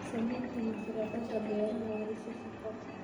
Samaynta mashaariicda beeraha waa isha shaqo.